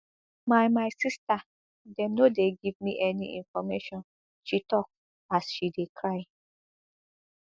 my my sister dem no dey give me any information she tok as she dey cry